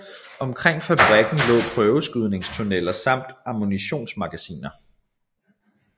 Omkring fabrikken lå prøveskydningstunneler samt ammunitionsmagasiner